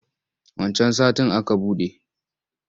Wancan satin aka buɗe.